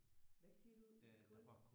Hvad siger du? Det var kul?